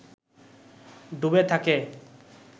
ডুবে থাকে